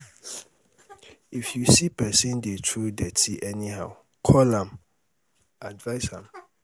if you see pesin dey um throw um dirty anyhow call am advise am